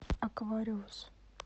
аквариус